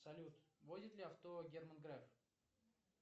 салют водит ли авто герман греф